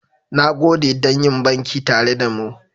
Na gode don yin banki tare da mu.